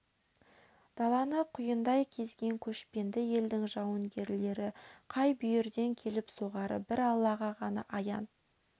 даланы құйындай кезген көшпенді елдің жауынгерлері қай бүйірден келіп соғары бір аллаға ғана аян